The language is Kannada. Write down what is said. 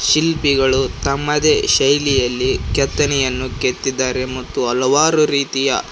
ಶಿಲ್ಪಿಗಳು ತಮ್ಮ ದೇಶದಲ್ಲಿ ಕೆತ್ತನೆಯನ್ನು ಕೆತ್ತಿದ್ದಾರೆ ಮತ್ತು ಹಲವಾರು ರೀತಿಯ--